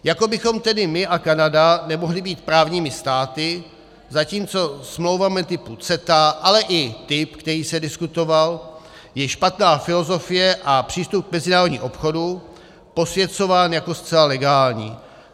Jako bychom tedy my a Kanada nemohli být právními státy, zatímco smlouvami typu CETA, ale i typ, který se diskutoval, je špatná filozofie a přístup k mezinárodnímu obchodu posvěcován jako zcela legální.